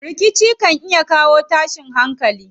Rikici kan iya kawo tashin hankali.